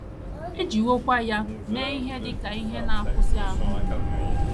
E jiwokwa ya mee ihe dị ka ihe na - akwụsị ahụ akwụsị ahụ mgbu.